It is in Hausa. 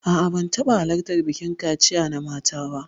A'a, ban taɓa halartar bikin kaciya na mata ba.